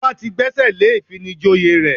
Ọba ti gbẹ́sẹ̀ lé ìfinijoyè rẹ̀